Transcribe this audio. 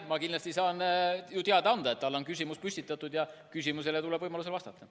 Ma kindlasti saan ju teada anda, et talle on küsimus esitatud, ja küsimusele tuleb võimaluse korral vastata.